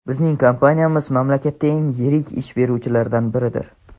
bizning kompaniyamiz mamlakatdagi eng yirik ish beruvchilardan biridir.